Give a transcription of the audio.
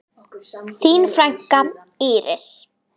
Þín frænka, Íris.